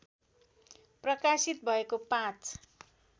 प्रकाशित भएको पाँच